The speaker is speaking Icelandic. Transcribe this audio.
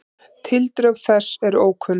Tildrög þessa eru ókunn.